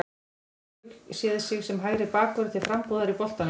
Gæti Rúrik séð sig sem hægri bakvörð til frambúðar í boltanum?